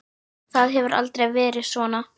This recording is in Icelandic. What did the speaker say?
Það hefur aldrei verið svona.